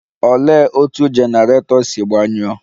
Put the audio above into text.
Olee otú generator si gbanyụọ?.